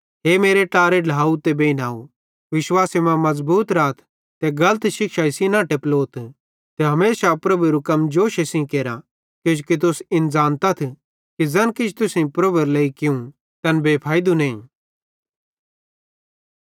हे मेरे ट्लारे ढ्लाव ते बेइनव विश्वासे मां मज़बूत राथ ते गलत शिक्षाई सेइं न टेपलोथ ते हमेशा प्रभुएरू कम जोशे सेइं केरा किजोकि तुस इन ज़ानत्तथ कि ज़ैन किछ तुसेईं प्रभुएरे लेइ कियूं तैन बेफैइदू नईं